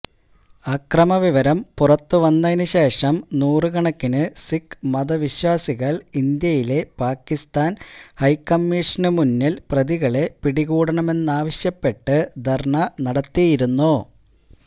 അക്രമവിവരം പുറത്തുവന്നതിനു ശേഷം നൂറുകണക്കിന് സിഖ് മതവിശ്വാസികള് ഇന്ത്യയിലെ പാകിസ്താന് ഹൈക്കമ്മീഷനു മുന്നില് പ്രതികളെ പിടികൂടണമെന്നാവശ്യപ്പെട്ട് ധര്ണ നടത്തിയിരുന്നു